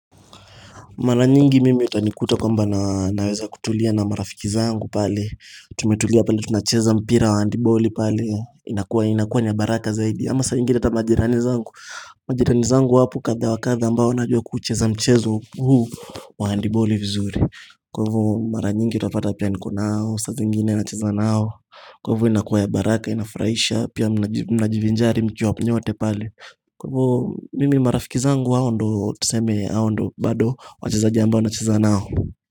Mara nyingi mimi utanikuta kwamba naweza kutulia na marafiki zangu pale Tumetulia pale tunacheza mpira wa handiboli pale inakuwa inakuwa ni ya baraka zaidi ama saa ingine hata majirani zangu Majirani zangu wapo kadha wa kadha ambao najua kucheza mchezo huu wa handiboli vizuri Kwa hivyo mara nyingi utapata pia niko nao saa zingine nacheza nao Kwa hivyo inakuwa ya baraka inafurahisha Pia mnajivinjari mkiwa nyote pale Kwa hivo mimi marafiki zangu hao ndio tuseme hao ndio bado wacheza ambao nacheza nao.